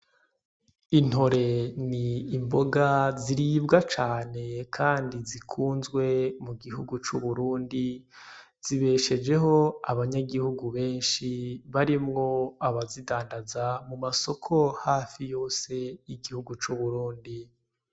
Intore n'imboga ziribwa cane Kandi zikunzwe mu gihugu c'Uburundi , zibishejeho abanyagihugu benshi barimwo abazidandaza mu masoko hafi yose y'igihugu c'Uburundi.